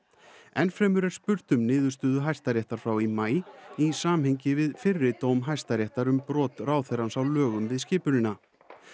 enn fremur er spurt um niðurstöðu Hæstaréttar frá í maí í samhengi við fyrri dóm Hæstaréttar um brot ráðherrans á lögum við skipunina